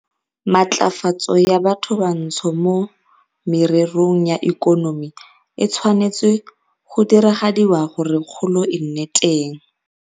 Matlafatso ya bathobantsho mo mererong ya ikonomi e tshwanetswe go diragadiwa gore kgolo e nne teng